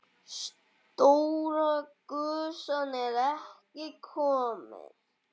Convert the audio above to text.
Stóra gusan er ekki komin.